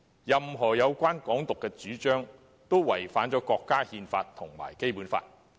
任何有關"港獨"的主張，均違反國家憲法和《基本法》。